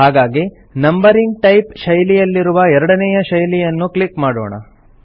ಹಾಗಾಗಿ numbering type ಶೈಲಿಯಲ್ಲಿರುವ ಎರಡನೇಯ ಶೈಲಿಯನ್ನು ಕ್ಲಿಕ್ ಮಾಡೋಣ